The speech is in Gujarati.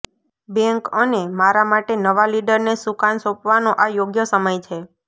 બેન્ક અને મારા માટે નવા લીડરને સુકાન સોંપવાનો આ યોગ્ય સમય છે